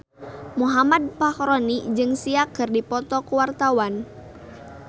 Muhammad Fachroni jeung Sia keur dipoto ku wartawan